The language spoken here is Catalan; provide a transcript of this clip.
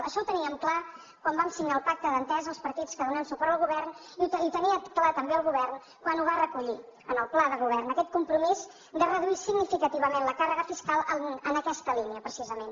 això ho teníem clar quan vam signar el pacte d’entesa els partits que donem suport al govern i ho tenia clar també el govern quan ho va recollir en el pla de govern aquest compromís de reduir significativament la càrrega fiscal en aquesta línia precisament